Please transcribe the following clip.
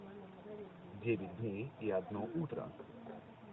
девять дней и одно утро